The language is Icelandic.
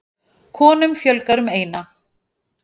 Konum fjölgar um eina.